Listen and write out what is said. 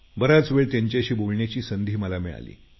बराच वेळ त्यांच्याशी बोलण्याची संधी मला मिळाली